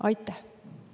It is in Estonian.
Aitäh!